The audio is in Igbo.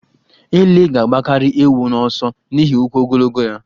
Ele ga-agbakarị ewu n'ọsọ n'ihi ụkwụ ogologo ya.